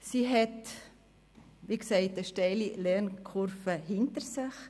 Sie hat, wie gesagt, eine steile Lernkurve hinter sich.